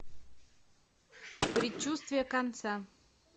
предчувствие конца